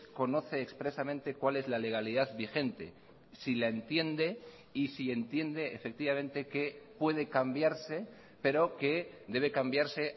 conoce expresamente cuál es la legalidad vigente si la entiende y si entiende efectivamente que puede cambiarse pero que debe cambiarse